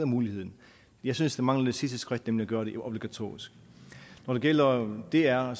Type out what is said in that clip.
muligheden jeg synes der mangler det sidste skridt nemlig at gøre det obligatorisk når det gælder dr er